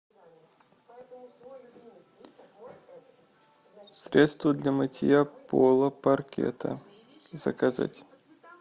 средство для мытья пола паркета заказать